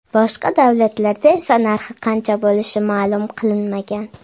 Boshqa davlatlarda esa narxi qancha bo‘lishi ma’lum qilinmagan.